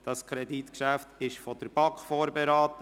Dieses Kreditgeschäft wurde von der BaK vorberaten.